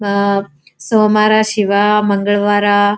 ಆಹ್ಹ್ ಸೋಮರ ಶಿವ ಮಂಗಳ್ವಾರ --